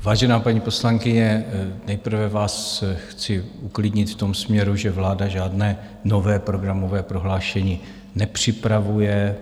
Vážená paní poslankyně, nejprve vás chci uklidnit v tom směru, že vláda žádné nové programové prohlášení nepřipravuje.